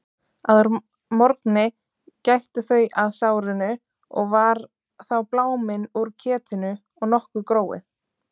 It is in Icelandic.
Að morgni gættu þau að sárinu og var þá bláminn úr ketinu og nokkuð gróið.